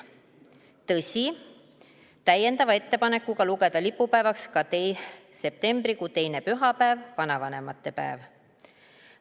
Tõsi, täiendava ettepanekuga lugeda lipupäevaks ka septembrikuu teine pühapäev, vanavanemate päev.